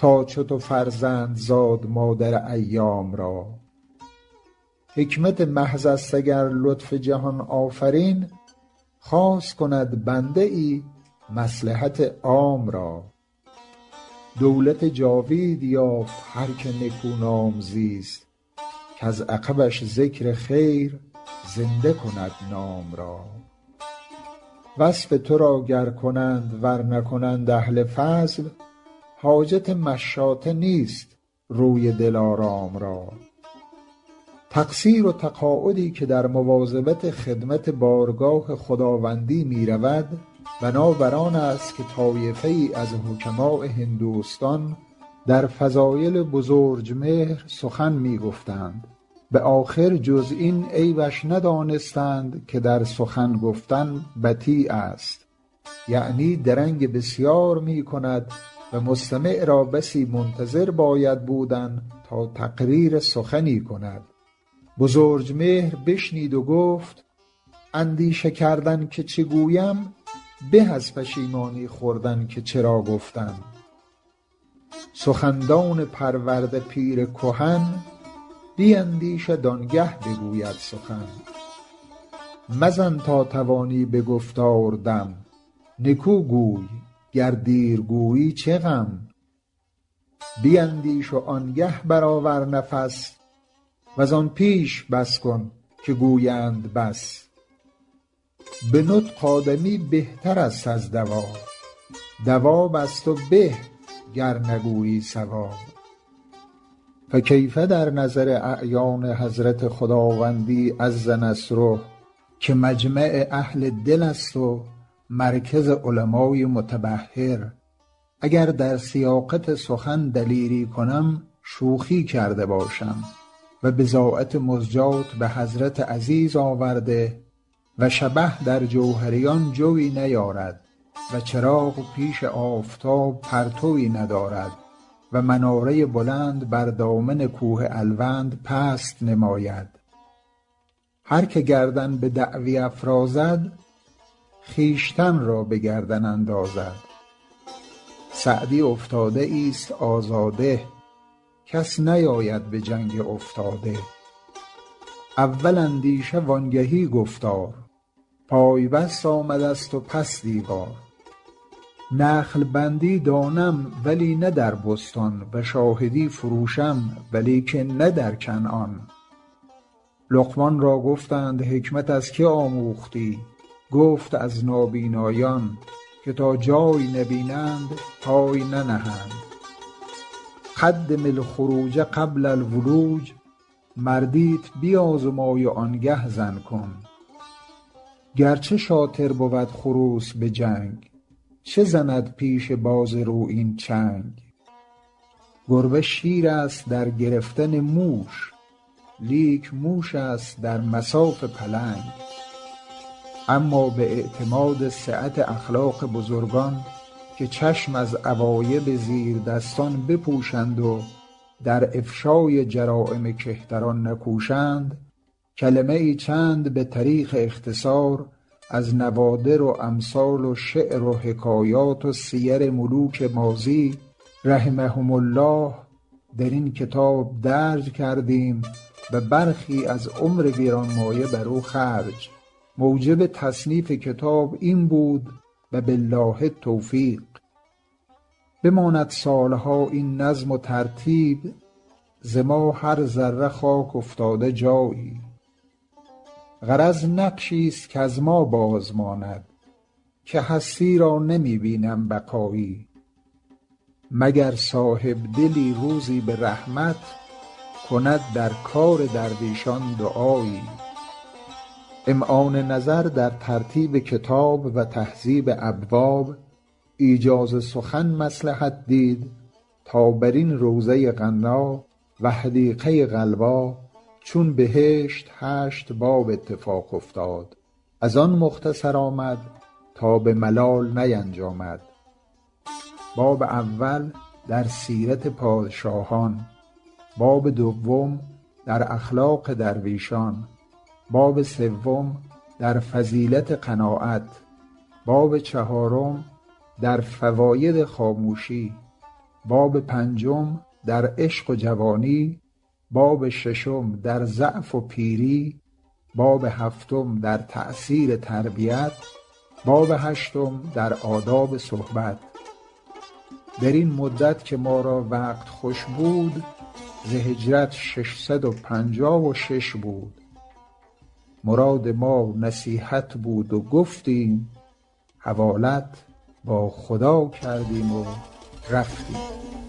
تا چو تو فرزند زاد مادر ایام را حکمت محض است اگر لطف جهان آفرین خاص کند بنده ای مصلحت عام را دولت جاوید یافت هر که نکونام زیست کز عقبش ذکر خیر زنده کند نام را وصف تو را گر کنند ور نکنند اهل فضل حاجت مشاطه نیست روی دلارام را تقصیر و تقاعدی که در مواظبت خدمت بارگاه خداوندی می رود بنا بر آن است که طایفه ای از حکماء هندوستان در فضایل بزرجمهر سخن می گفتند به آخر جز این عیبش ندانستند که در سخن گفتن بطی است یعنی درنگ بسیار می کند و مستمع را بسی منتظر باید بودن تا تقریر سخنی کند بزرجمهر بشنید و گفت اندیشه کردن که چه گویم به از پشیمانی خوردن که چرا گفتم سخندان پرورده پیر کهن بیندیشد آن گه بگوید سخن مزن تا توانی به گفتار دم نکو گوی گر دیر گویی چه غم بیندیش وآن گه بر آور نفس وز آن پیش بس کن که گویند بس به نطق آدمی بهتر است از دواب دواب از تو به گر نگویی صواب فکیف در نظر اعیان حضرت خداوندی عز نصره که مجمع اهل دل است و مرکز علمای متبحر اگر در سیاقت سخن دلیری کنم شوخی کرده باشم و بضاعت مزجاة به حضرت عزیز آورده و شبه در جوهریان جویٖ نیارد و چراغ پیش آفتاب پرتوی ندارد و مناره بلند بر دامن کوه الوند پست نماید هر که گردن به دعوی افرازد خویشتن را به گردن اندازد سعدی افتاده ای ست آزاده کس نیاید به جنگ افتاده اول اندیشه وآن گهی گفتار پای بست آمده ست و پس دیوار نخل بندی دانم ولی نه در بستان و شاهدی فروشم ولیکن نه در کنعان لقمان را گفتند حکمت از که آموختی گفت از نابینایان که تا جای نبینند پای ننهند قدم الخروج قبل الولوج مردیت بیازمای وآن گه زن کن گر چه شاطر بود خروس به جنگ چه زند پیش باز رویین چنگ گربه شیر است در گرفتن موش لیک موش است در مصاف پلنگ اما به اعتماد سعت اخلاق بزرگان که چشم از عوایب زیردستان بپوشند و در افشای جرایم کهتران نکوشند کلمه ای چند به طریق اختصار از نوادر و امثال و شعر و حکایات و سیر ملوک ماضی رحمهم الله در این کتاب درج کردیم و برخی از عمر گرانمایه بر او خرج موجب تصنیف کتاب این بود و بالله التوفیق بماند سال ها این نظم و ترتیب ز ما هر ذره خاک افتاده جایی غرض نقشی ست کز ما باز ماند که هستی را نمی بینم بقایی مگر صاحب دلی روزی به رحمت کند در کار درویشان دعایی امعان نظر در ترتیب کتاب و تهذیب ابواب ایجاز سخن مصلحت دید تا بر این روضه غنا و حدیقه غلبا چون بهشت هشت باب اتفاق افتاد از آن مختصر آمد تا به ملال نینجامد باب اول در سیرت پادشاهان باب دوم در اخلاق درویشان باب سوم در فضیلت قناعت باب چهارم در فواید خاموشی باب پنجم در عشق و جوانی باب ششم در ضعف و پیری باب هفتم در تأثیر تربیت باب هشتم در آداب صحبت در این مدت که ما را وقت خوش بود ز هجرت شش صد و پنجاه و شش بود مراد ما نصیحت بود و گفتیم حوالت با خدا کردیم و رفتیم